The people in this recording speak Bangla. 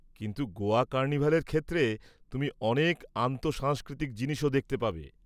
কিন্তু গোয়া কার্নিভালের ক্ষেত্রে তুমি অনেক আন্তঃসাংস্কৃতিক জিনিসও দেখতে পাবে।